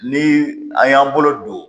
Ni an y'an bolo don